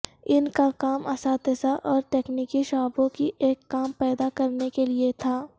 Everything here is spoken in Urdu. ان کا کام اساتذہ اور تکنیکی شعبوں کی ایک کام پیدا کرنے کے لئے تھا